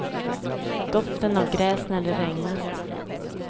Doften av gräs när det regnat.